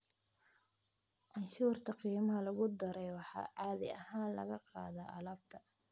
Canshuurta qiimaha lagu daray waxaa caadi ahaan laga qaadaa alaabta.